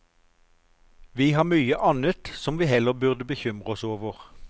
Vi har mye annet som vi heller burde bekymre oss over.